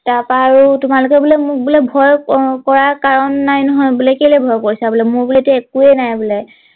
তাৰ পৰা আৰু তোমালোকে বোলে মোক বোলে ভয় কৰা কাৰণ নাই নহয় বোলে কেলে ভয় কৰিছা বোলে মোৰ বোলেটো একোৱেই নাই বোলে